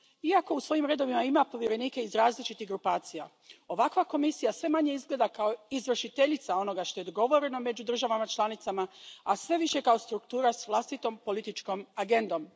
Iako u svojim redovima ima povjerenike iz različitih grupacija, ovakva Komisija sve manje izgleda kao izvršiteljica onoga što je dogovoreno među državama članicama, a sve više kao struktura s vlastitom političkom agendom.